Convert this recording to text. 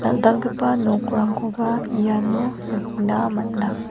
dal·dalgipa nokrangkoba iano nikna gita man·a.